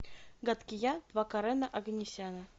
гадкий я два карена оганесяна